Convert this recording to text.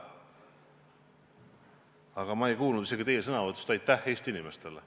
Aga ma ei kuulnud teie sõnavõtust aitähhi Eesti inimestele.